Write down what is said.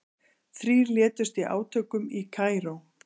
Þrír létust í átökum í Kaíró